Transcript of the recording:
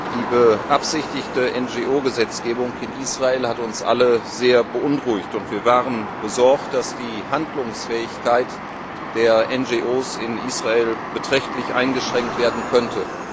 Die beabsichtigte NRO Gesetzgebung in Israel hat uns alle sehr beunruhigt, und wir waren besorgt, dass die Handlungsfähigkeit der NRO in Israel beträchtlich eingeschränkt werden könnte.